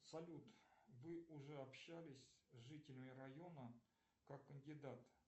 салют вы уже общались с жителями района как кандидат